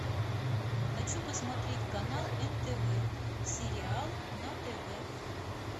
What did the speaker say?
хочу посмотреть канал нтв сериал на тв